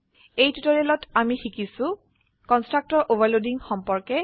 এই টিউটোৰীয়েলত আমি শিকিছো160 কন্সট্ৰাকটৰ ওভাৰলোডিং সম্পৰ্কে